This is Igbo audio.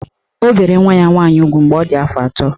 O bere nwa ya nwaanyị ugwu mgbe ọ dị afọ atọ.